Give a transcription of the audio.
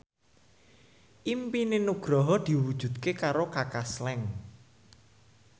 impine Nugroho diwujudke karo Kaka Slank